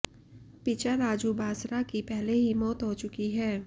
पिचा राजू बांसरा की पहले ही मौत हो चुकी है